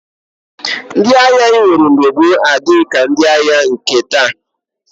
Ndị agha e nwere mgbe gboo adịghị ka ndị agha nke taa